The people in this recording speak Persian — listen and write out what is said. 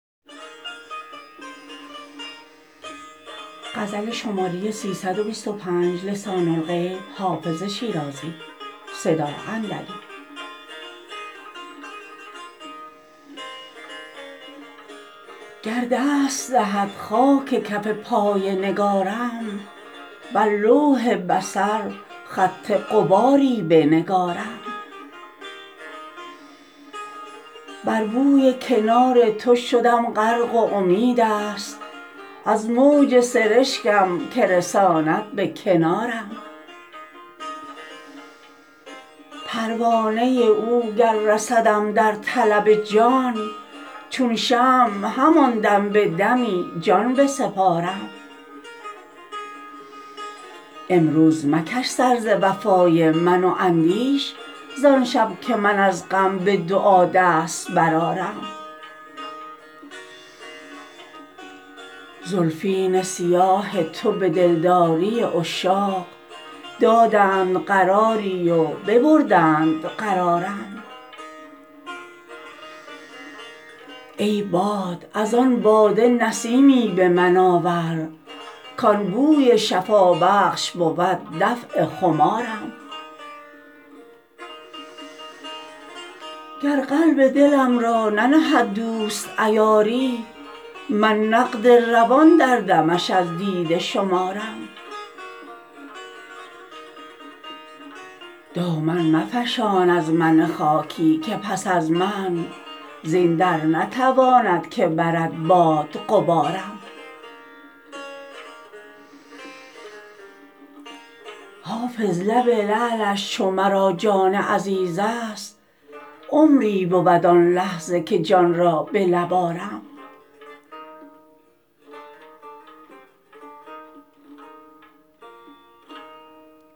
گر دست دهد خاک کف پای نگارم بر لوح بصر خط غباری بنگارم بر بوی کنار تو شدم غرق و امید است از موج سرشکم که رساند به کنارم پروانه او گر رسدم در طلب جان چون شمع همان دم به دمی جان بسپارم امروز مکش سر ز وفای من و اندیش زان شب که من از غم به دعا دست برآرم زلفین سیاه تو به دلداری عشاق دادند قراری و ببردند قرارم ای باد از آن باده نسیمی به من آور کان بوی شفابخش بود دفع خمارم گر قلب دلم را ننهد دوست عیاری من نقد روان در دمش از دیده شمارم دامن مفشان از من خاکی که پس از من زین در نتواند که برد باد غبارم حافظ لب لعلش چو مرا جان عزیز است عمری بود آن لحظه که جان را به لب آرم